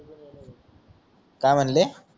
काय म्हणले